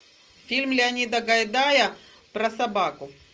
фильм леонида гайдая про собаку